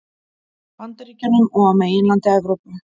Bandaríkjunum og á meginlandi Evrópu.